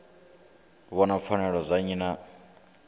vhona pfanelo dza nnyi na